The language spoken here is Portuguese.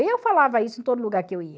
Eu falava isso em todo lugar que eu ia.